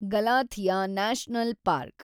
Galathea national park